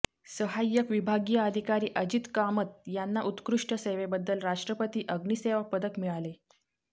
सहाय्यक विभागिय अधिकारी अजित कामत यांना उत्कृष्ठ सेवेबद्दल राष्ट्रपती अग्नीसेवा पदक मिळाले